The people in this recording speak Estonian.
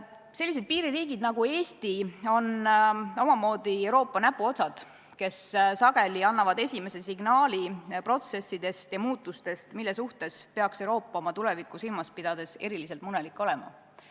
Sellised piiririigid nagu Eesti on omamoodi Euroopa näpuotsad, kes sageli annavad esimese signaali protsesside ja muutuste kohta, mille pärast peaks Euroopa oma tulevikku silmas pidades eriliselt murelik olema.